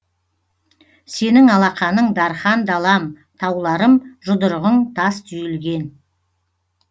сенің алақаның дархан далам тауларым жұдырығың тас түйілген